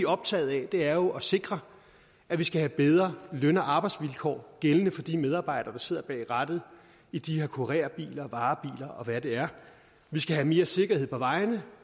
optaget af er jo at sikre at vi skal have bedre løn og arbejdsvilkår gældende for de medarbejdere der sidder bag rattet i de her kurerbiler varebiler og hvad det er vi skal have mere sikkerhed på vejene